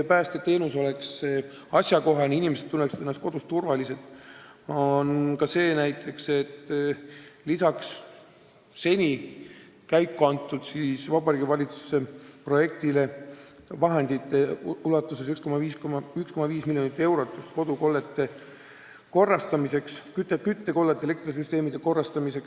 Selleks, et inimesed tunneksid ennast kodus turvaliselt, on Vabariigi Valitsuse projekti kohaselt eraldatud 1,5 miljonit eurot kodude küttekollete ja elektrisüsteemide kordategemiseks.